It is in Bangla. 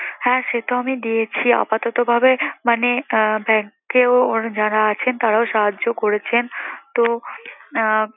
হ্যাঁ সেতো আমি দিয়েছি আপাতত ভাবে মানে আহ bank এও ওর যারা আছেন তারাও সাহায্য করেছেন। তো আহ